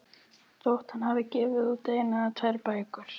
Þótt hann hafi gefið út eina eða tvær bækur.